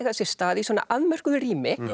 sér stað í svona afmörkuðu rými